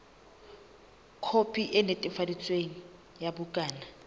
khopi e netefaditsweng ya bukana